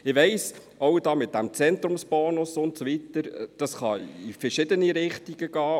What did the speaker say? Ich weiss, auch mit dem Zentrumsbonus und so weiter kann es in verschiedene Richtungen gehen.